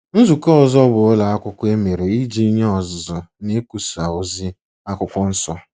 Nzukọ ọzọ bụ ụlọ akwụkwọ e mere iji nye ọzụzụ nikwusa ozi Akwụkwọ Nsọ.